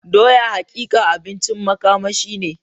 Doya hakika abincin makamashi ne.